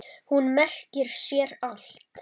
Hún merkir sér allt.